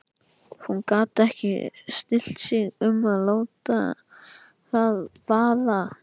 Hún gat ekki stillt sig um að láta það vaða.